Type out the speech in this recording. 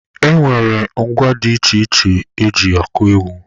E nwere ngwa dị iche iche eji akụ egwu.